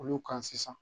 Olu kan sisan